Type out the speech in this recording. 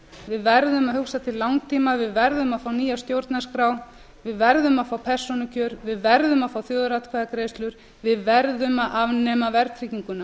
við verðum að hugsa til langtíma við verðum að fá nýja stjórnarskrá við verðum að fá persónukjör við verðum að fá þjóðaratkvæðagreiðslur við verðum að afnema verðtrygginguna